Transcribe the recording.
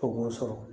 O b'o sɔrɔ